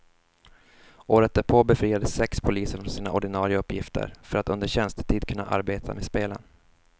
Året därpå befriades sex poliser från sina ordinare uppgifter för att under tjänstetid kunna arbeta med spelen.